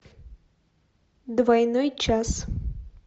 двойной час